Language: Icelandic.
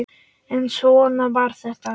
En svona var þetta.